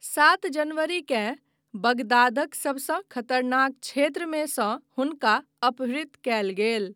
सात जनवरीकेँ बगदादक सबसँ खतरनाक क्षेत्रमे सँ हुनका अपहृत कयल गेल।